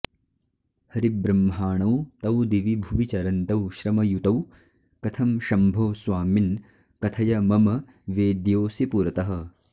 हरिब्रह्माणौ तौ दिवि भुवि चरन्तौ श्रमयुतौ कथं शम्भो स्वामिन् कथय मम वेद्योऽसि पुरतः